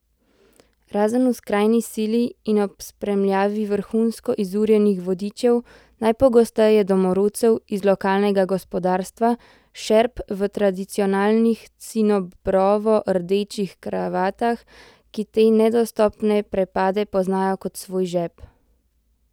Razen v skrajni sili in ob spremljavi vrhunsko izurjenih vodičev, najpogosteje domorodcev iz lokalnega gospodarstva, šerp v tradicionalnih cinobrovo rdečih kravatah, ki te nedostopne prepade poznajo kot svoj žep.